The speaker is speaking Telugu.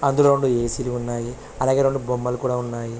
అందులో రెండు ఏ_సి లు ఉన్నాయి. అలాగే రెండు బొమ్మలు కూడా ఉన్నాయి.